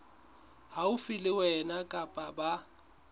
haufi le wena kapa ba